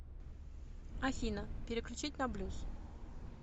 афина переключить на блюз